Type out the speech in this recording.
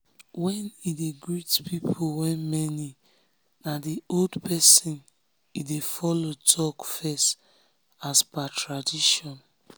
when he dey greet people wey many na the old pesin he dey follow talk first as per tradition.